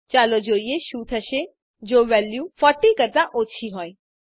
ચાલો જોઈએ શું થશે જો વેલ્યુ 40 કરતાં ઓછી હોય